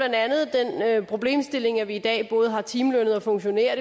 der er problemstilling at vi i dag både har timelønnede og funktionærer